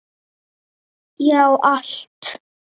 Já, allt.